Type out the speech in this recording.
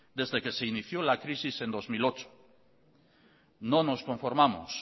desde que se inició la crisis en dos mil ocho no nos conformamos